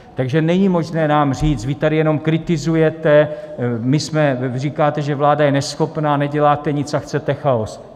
Takže není možné nám říct: vy tady jenom kritizujete, říkáte, že vláda je neschopná, neděláte nic a chcete chaos.